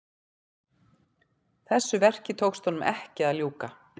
Þessu verki tókst honum ekki að ljúka.